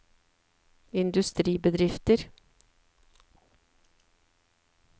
industribedrifter